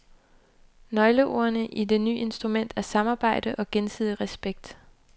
Nøgleordene i det ny instrument er samarbejde og gensidig respekt.